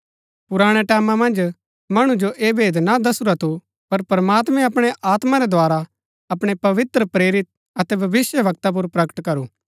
पुराणै टैमां मन्ज मणु जो ऐह भेद ना दसुरा थू पर प्रमात्मैं अपणै आत्मा रै द्धारा अपणै पवित्र प्रेरित अतै भविष्‍यवक्ता पुर प्रकट करू